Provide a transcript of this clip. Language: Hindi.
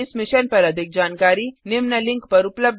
इस मिशन पर अधिक जानकारी निम्न लिंक पर उपलब्ध है